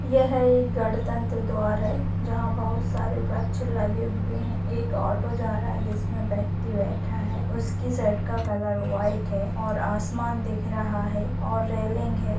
यह एक गणतंत्र द्वार है जहाँ बहोत सारे वृक्ष लगे हुए हैं एक ऑटो जा रहा है जिसमें व्यक्ति बैठा है उसकी शर्ट का कलर वाइट है और आसमान दिख रहा है और रेलिंग है।